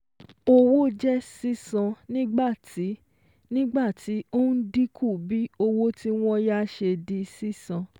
Owó jẹ́ sísan nígbàtí nígbàtí ó ń dínkù bí owó tí wọ́n yá ṣe di sísan